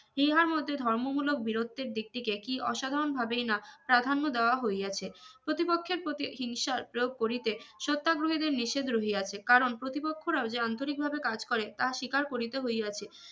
ইহার মধ্যে ধর্ম মুলক বিরোতের দিক তিকে কি অসাধারন ভাবেই না প্রাধান্য দেওয়া হইয়াছে প্রতিপক্ষের প্রতি হিংসার প্রয়োগ করিতে সত্যাগ্রহেদের নিষেধ রহিয়াছে কারন প্রতিপক্ষরা যে আন্তরিক ভাবে কাজ করে তা স্বীকার করিতে হইয়াছে